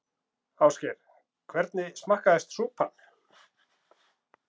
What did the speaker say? Ásgeir: Hvernig smakkaðist súpan?